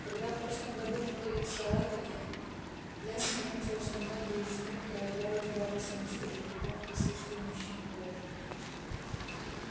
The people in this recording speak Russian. когда в прошлом году мы были в саратоге я заметила что многие из них проявляли здравый смысл и притом в присутствии мужчин тоже